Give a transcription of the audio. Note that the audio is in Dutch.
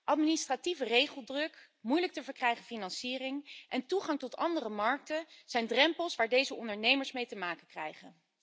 Administratieve regeldruk, moeilijk te verkrijgen financiering en toegang tot andere markten zijn drempels waar deze ondernemers mee te maken krijgen.